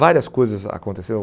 Várias coisas aconteceram.